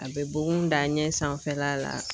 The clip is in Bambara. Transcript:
A bɛ bugun da ɲɛ sanfɛla la ,